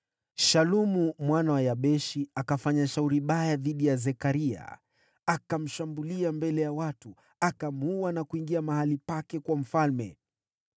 Shalumu mwana wa Yabeshi akafanya shauri baya dhidi ya Zekaria. Akamshambulia mbele ya watu, akamuua na kuingia mahali pake kuwa mfalme.